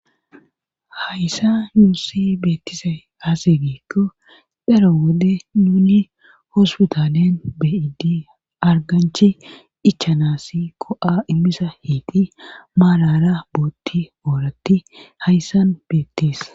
hayssa yuussi beettise aasigiikko dero wode nuuni hospitalen beidi arganchi ichanasi ko7a immisa hiiti maalara bootti ooratti hayssan beettees